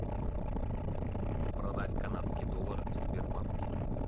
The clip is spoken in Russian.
продать канадский доллар в сбербанке